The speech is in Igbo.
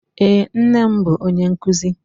Eé, nne m bụ onye nkụzi.